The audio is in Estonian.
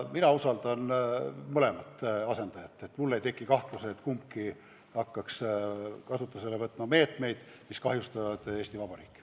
Mina usaldan mõlemat asendajat, mul ei tekiks kahtlust, et kumbki neist hakkaks kasutusele võtma meetmeid, mis kahjustavad Eesti Vabariiki.